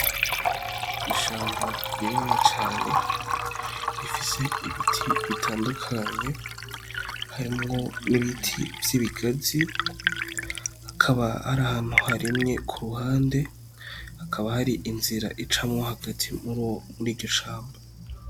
Ishamba rinini cane rifise ibiti bitandukanye harimwo n'ibiti vy'ibigazi hakaba hari ahantu harimye ku ruhande hakaba hari inzira icamwo hagati muri iryo shamba.